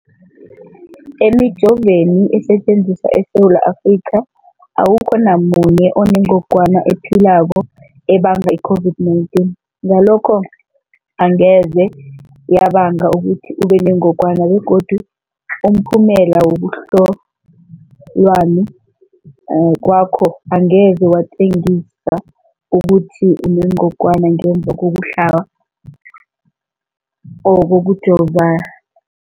Emijoveni esetjenziswa eSewula Afrika, awukho namunye onengog wana ephilako ebanga i-COVID-19. Ngalokho-ke angeze yabanga ukuthi ubenengogwana begodu umphumela wokuhlolwan kwakho angeze watjengisa ukuthi unengogwana ngemva kokuhlaba or kokujova